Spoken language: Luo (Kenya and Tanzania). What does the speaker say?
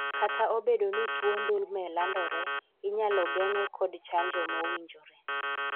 kata obedo ni tuo ndulme landore, inyalo geng'e kod chanjo mowinjore